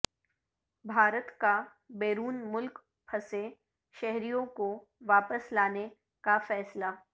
بھارت کا بیرون ملک پھنسے شہریوں کو واپس لانے کا فیصلہ